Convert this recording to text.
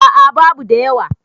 a a babu da yawa